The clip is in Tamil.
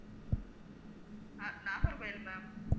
அஹ் நாகர்கோவில் ma'am